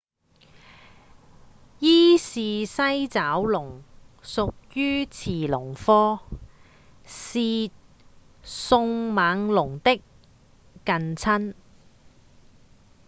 伊氏西爪龍屬於馳龍科是迅猛龍的近親